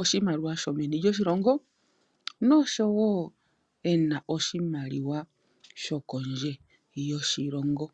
oshimaliwa yomeni lyoshilongo noshowo ena oshimaliwa sho kondje yoshilongo.